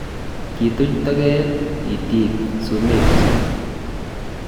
kituch toket itik sumekchich